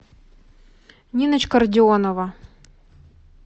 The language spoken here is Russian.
ниночка родионова